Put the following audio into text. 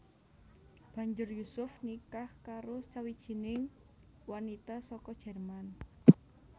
Banjur Yusuf nikah karo sawijining wanita saka Jerman